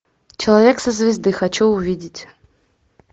человек со звезды хочу увидеть